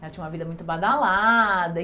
Ela tinha uma vida muito badalada. E